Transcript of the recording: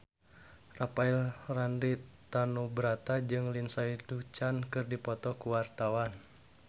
Rafael Landry Tanubrata jeung Lindsay Ducan keur dipoto ku wartawan